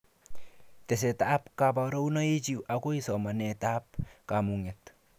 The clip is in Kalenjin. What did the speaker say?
Tesetab kobarunoikichi akoi somanetab kamuget